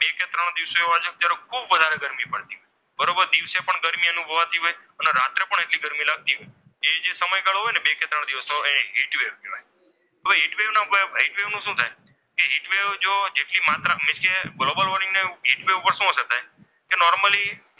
ગરમી અનુભવાતી હોય અને રાત્રે પણ એટલી ગરમી લાગતી હોય. એ જે સમયગાળો હોય ને બે કે ત્રણ દિવસનો. હવે હીટ વેવના હીટ વેવ નું શું થાય. કે હીટ વેવ જુઓ જેટલી માત્રા કે ગ્લોબલ વોર્મિંગ પર શું અસર થાય એ નોર્મલી,